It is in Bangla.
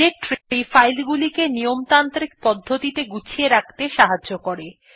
ডিরেক্টরী ফাইল গুলিকে নিয়মতান্ত্রিক পদ্ধতিতে গুছিয়ে রাখতে সাহায্য করে